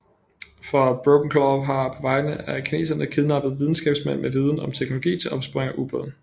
For Brokenclaw har på vegne af kineserne kidnappet videnskabsmænd med viden om teknologi til opsporing af ubåde